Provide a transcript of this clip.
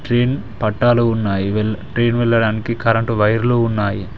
Train పట్టాలు ఉన్నాయి well train వెళ్ళడానికి కరెంటు వైర్లు ఉన్నాయి.